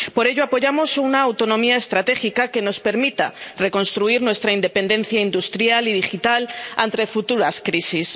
Por ello, apoyamos una autonomía estratégica que nos permita reconstruir nuestra independencia industrial y digital ante futuras crisis.